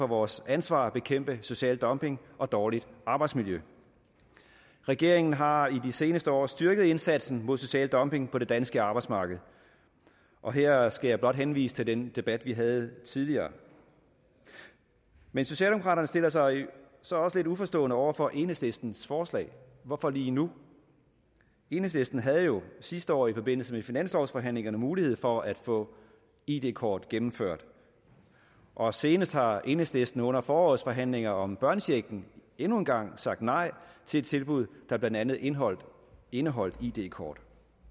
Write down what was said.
vores ansvar at bekæmpe social dumping og dårligt arbejdsmiljø regeringen har i de seneste år styrket indsatsen mod social dumping på det danske arbejdsmarked og her skal jeg blot henvise til den debat vi havde tidligere men socialdemokraterne stiller sig så også lidt uforstående over for enhedslistens forslag hvorfor lige nu enhedslisten havde jo sidste år i forbindelse med finanslovsforhandlingerne mulighed for at få id kort gennemført og senest har enhedslisten under forårets forhandlinger om børnechecken endnu en gang sagt nej til et tilbud der blandt andet indeholdt indeholdt id kort